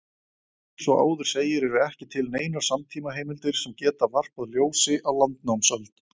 Eins og áður segir eru ekki til neinar samtímaheimildir sem geta varpað ljósi á landnámsöld.